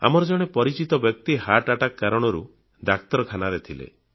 ଆମର ଜଣେ ପରିଚିତ ବ୍ୟକ୍ତି ହୃଦଘାତ ହର୍ଟ Attackକାରଣରୁ ଡାକ୍ତରଖାନାରେ ଥିଲେ